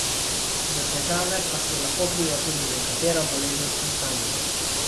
Za težave pa so lahko kriva tudi nekatera bolezenska stanja.